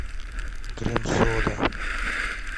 крем сода